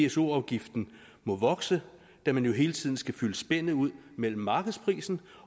pso afgiften må vokse da man jo hele tiden skal fylde spændet ud mellem markedsprisen